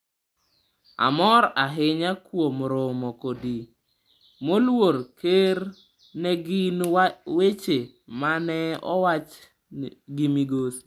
“Amor ahinya kuom romo kodi, Moluor Ker,” ne gin weche mane owach gi Migosi.